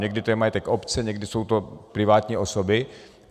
Někdy to je majetek obce, někdy jsou to privátní osoby.